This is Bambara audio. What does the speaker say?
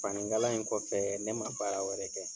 Fani kalan in kɔfɛ ne man baara wɛrɛ kɛ.